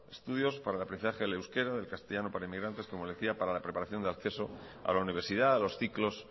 estudios para el aprendizaje del euskera del castellano para los inmigrantes como decía para la preparación de acceso a la universidad a los ciclos